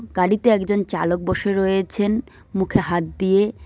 গাড়িতে একজন চালক বসে রয়েছেন মুখে হাত দিয়ে।